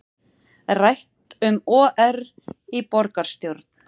Rætt um OR í borgarstjórn